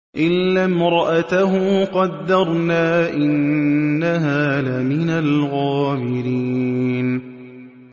إِلَّا امْرَأَتَهُ قَدَّرْنَا ۙ إِنَّهَا لَمِنَ الْغَابِرِينَ